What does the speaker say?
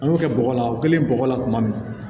An y'o kɛ bɔgɔ la o kɛlen bɔgɔ la tuma min